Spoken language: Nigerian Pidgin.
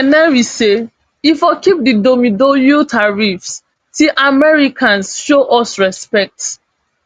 say e for keep di domeidoyo tariffs till americans show us respect